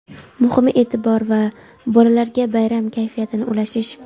muhimi e’tibor va bolalarga bayram kayfiyatini ulashish.